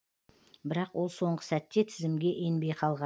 бірақ ол соңғы сәтте тізімге енбей қалған